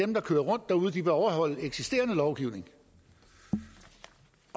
der kører rundt derude skal overholde eksisterende lovgivning